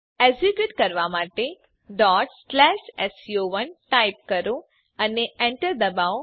execute કરવાં માટે sco1 type કરો અને એન્ટર દબાવો